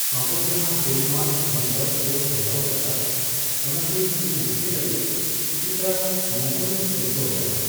ᱟᱵᱚ ᱡᱟᱦᱟᱸ ᱯᱚᱨᱤᱢᱟᱱ ᱦᱳᱢᱼᱳᱣᱟᱨᱠ ᱵᱚᱱ ᱠᱚᱨᱟᱣ ᱟᱠᱟᱫᱟ ᱚᱱᱟᱛᱮ ᱤᱧ ᱱᱟᱥᱮ ᱞᱟᱹᱜᱤᱫ ᱠᱤᱪᱷᱩᱴᱟ ᱢᱚᱜᱚᱱᱤᱧ ᱟᱹᱭᱠᱟᱹᱣ ᱟᱠᱟᱫᱟ ᱾